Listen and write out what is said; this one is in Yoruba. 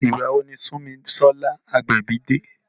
Ìgbà wo ni Sunmisola Agbebi de?